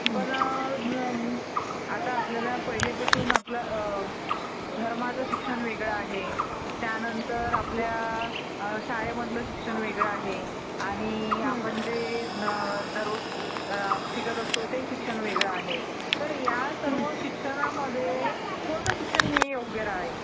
पण आता आपल्याला पहिलीपासून आपल्याला धर्माचं शिक्षण वेगळं आहे. त्यांनतर आपल्या शाळेमधील शिक्षण वेगळं आहे. आणि आपण जे दररोज शिकत असतो ते शिक्षण वेगळं आहे. तर ह्या सर्व शिक्षणामध्ये कोणतं शिक्षण हे योग्य राहील?